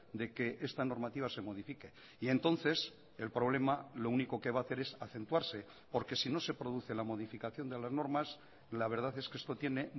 de que esta normativa se modifique y entonces el problema lo único que va a hacer es acentuarse porque si no se produce la modificación de las normas la verdad es que esto tiene